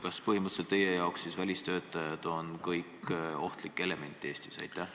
Kas teie jaoks on siis kõik välistöötajad põhimõtteliselt ohtlik element Eestis?